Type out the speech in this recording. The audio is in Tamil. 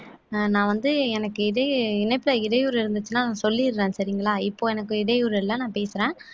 ஆஹ் நான் வந்து எனக்கு இதே இணைப்புல இடையூறு இருந்துச்சுன்னா சொல்லிடுறேன் சரிங்களா இப்ப எனக்கு இடையூறு இல்ல நான் பேசுறேன்